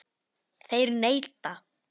Þeir neita.